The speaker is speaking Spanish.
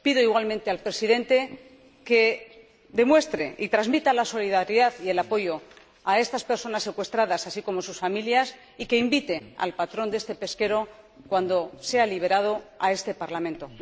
Pido igualmente al Presidente que demuestre y transmita la solidaridad y el apoyo a estas personas secuestradas, así como a sus familias, y que invite al patrón de este pesquero, cuando sea liberado, a este Parlamento.